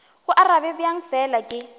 go arabe bjang fela ke